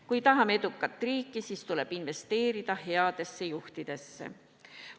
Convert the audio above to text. Kui tahame edukat riiki, siis tuleb investeerida headesse juhtidesse.